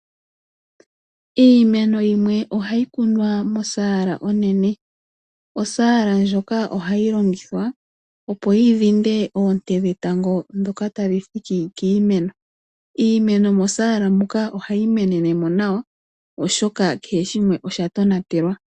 Iimeno yimwe oha yi kunwa mosaala onene. Osaala ndjoka oha yi longithwa, opo yi dhinde oonte dhetango ndhoka ta dhi hiti kiimeno. Iimeno mosaala muka oha yi menene mo nawa, oshoka kehe shimwe osha tonatelwa.